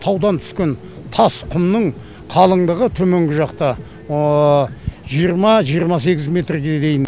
таудан түскен тас құмның қалыңдығы төменгі жақта жиырма жиырма сегіз метрге дейін